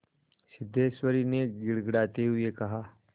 सिद्धेश्वरी ने गिड़गिड़ाते हुए कहा